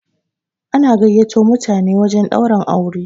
ana gaiyato mutane wajen Ɗaurin aure